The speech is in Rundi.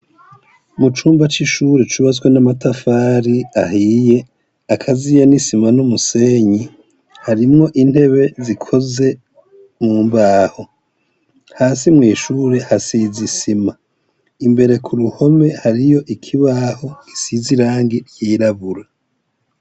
Mu cumba c'ishure cubatswe n'amatafari ahiye, akaziye n'isima n'umusenyi, harimwo intebe zikoze mu mbaho. Hasi mw'ishure hasize isima. Imbere ku ruhome hariyo ikibaho gisize irangi ryirabura.